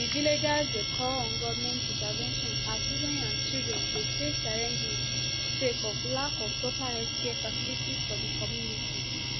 di villagers dey call on goment intervention as women and children dey face challenges sake of lack of proper healthcare facility for di communities